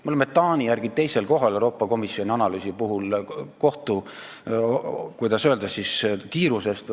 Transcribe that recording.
Me oleme Euroopa Komisjoni analüüsis Taani järel teisel kohal kohtu, kuidas öelda, kiiruse poolest.